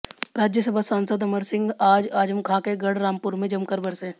राज्यसभा सांसद अमर सिंह आज आजम खां के गढ़ रामपुर में जमकर बरसे